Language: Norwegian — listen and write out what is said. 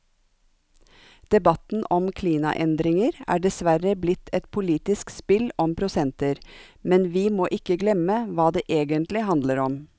Debatten om klimaendringer er dessverre blitt et politisk spill om prosenter, men vi må ikke glemme hva det egentlig handler om.